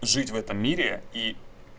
жить в этом мире и